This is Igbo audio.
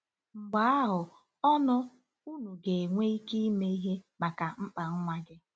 Mgbe ahụ, ọnụ, unu ga-enwe ike ime ihe maka mkpa nwa gị. ”